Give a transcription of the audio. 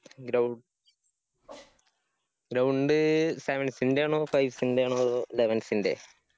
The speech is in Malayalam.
ഗ്രൌ ground sevens ന്റെ ആണോ? അതോ fives ന്റെ ആണോ? അതോ elevens ന്റെ?